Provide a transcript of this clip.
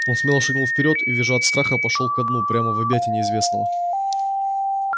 он смело шагнул вперёд и визжа от страха пошёл ко дну прямо в объятия неизвестного